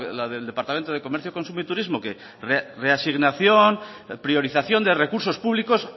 la del departamento de comercio consumo y turismo que reasignación priorización de recursos públicos